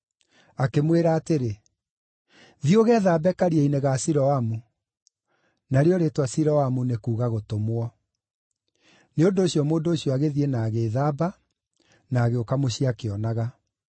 Akĩmwĩra atĩrĩ, “Thiĩ ũgethambe Karia-inĩ ga Siloamu” (narĩo rĩĩtwa Siloamu nĩ kuuga Gũtũmwo.) Nĩ ũndũ ũcio mũndũ ũcio agĩthiĩ na agĩĩthamba, na agĩũka mũciĩ akĩonaga.